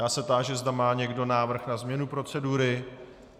Já se táži, zda má někdo návrh na změnu procedury.